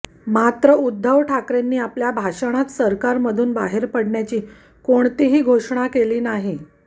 मात्र उद्धव ठाकरेंनी आपल्या भाषणात सरकारमधून बाहेर पडण्याची कोणतीही घोषणा केली नाही